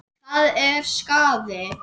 Það er skaði.